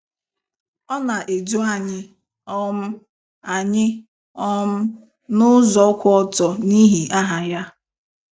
Ọ na-edu anyị um anyị um n'ụzọ kwụ ọtọ, n'ihi aha ya.